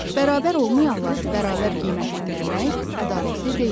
Bərabər olmayanları bərabər qiymətləndirmək ədalətli deyil.